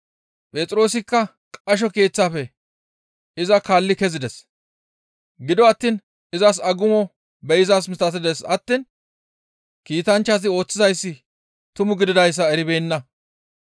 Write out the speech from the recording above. Phexroosikka qasho keeththaafe iza kaalli kezides; gido attiin izas agumo be7izaa misatides attiin kiitanchchazi ooththizayssi tumu gididayssa eribeenna.